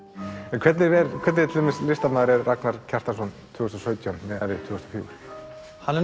en hvernig listamaður er Ragnar Kjartansson tvö þúsund og sautján miðað við tvö þúsund og fjögur hann er